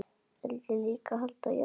Vildu líka halda jól.